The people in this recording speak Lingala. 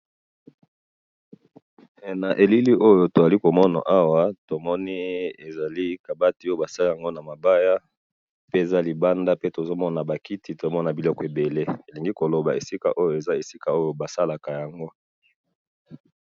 he na elili oyo tozali komona awa tomoni ezali kabati basali yango na mabaya pe naba kiti libanda tozali komona ezali esika basalaka yango